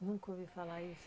Nunca ouvi falar isso